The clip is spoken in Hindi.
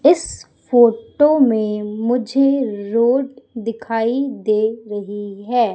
इस फोटो में मुझे रोड दिखाई दे रही है।